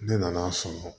Ne nan'a sɔrɔ